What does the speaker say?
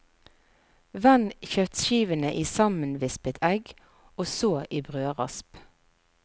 Vend kjøttskivene i sammenvispet egg og så i brødrasp.